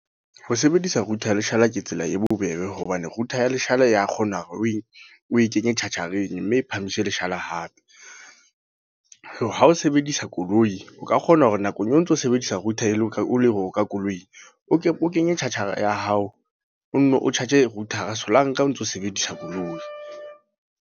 Ho sebedisa router ya leshala ke tsela e bobebe. Hobane router ya leshala ya kgonahala hore o e, o e kenye charger-eng. Mme e phamise leshala hape. Ha o sebedisa koloi, o ka kgona hore nakong eo o ntso sebedisa router e le ka o ka koloing. O kenye charger ya hao, o nno o charge router solanka o ntso sebedisa koloi.